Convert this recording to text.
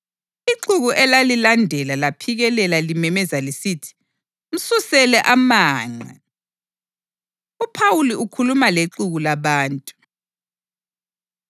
Ixuku elalilandela laphikelela limemeza lisithi, “Msusele amanqe!” UPhawuli Ukhuluma Lexuku Labantu